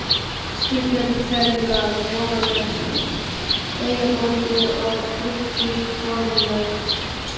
spyr Björn ferjumaður Jóhannes eyjabónda á bryggjusporðinum.